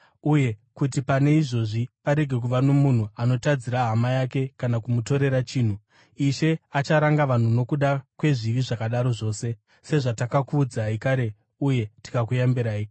uye kuti pane izvozvi parege kuva nomunhu anotadzira hama yake kana kumutorera chinhu. Ishe acharanga vanhu nokuda kwezvivi zvakadaro zvose, sezvatakakuudzai kare uye tikakuyambirai.